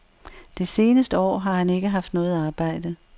Det seneste år har han ikke haft noget arbejde.